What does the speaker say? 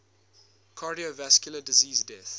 cardiovascular disease deaths